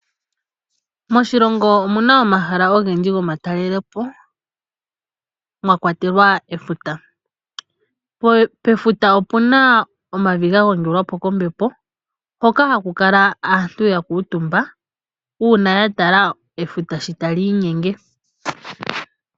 Moshilongo omu na omahala ogendji gomatalelepo mwa kwatelwa efuta. Pefuta opu na omavi ga gongelwapo kombepo mpoka hapu kala aantu ya kuutumba uuna ya tala efuta sho ta liinyenge.